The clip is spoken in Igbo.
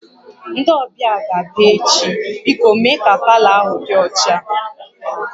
Ndị ọbịa ga-abịa echi, biko mee ka palọ ahụ dị ọcha